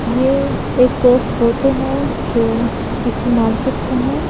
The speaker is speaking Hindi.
ये एक फोटो है जो किसी मार्केट का है।